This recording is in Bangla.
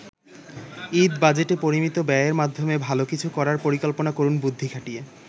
ঈদ বাজেটে পরিমিত ব্যয়ের মাধ্যমে ভালো কিছু করার পরিকল্পনা করুন বুদ্ধি খাটিয়ে।